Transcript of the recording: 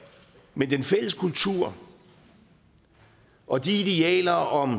men den fælles kultur og de idealer om